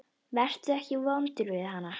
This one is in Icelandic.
Vertu ekki vondur við hana.